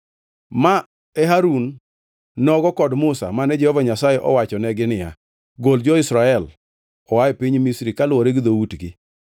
Ma e Harun nogo kod Musa mane Jehova Nyasaye owachonegi niya, “Gol jo-Israel oa e piny Misri kaluwore gi dhoutgi”